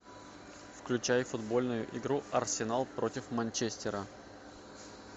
включай футбольную игру арсенал против манчестера